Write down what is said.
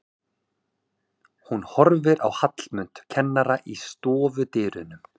Hún horfir á Hallmund kennara í stofudyrunum.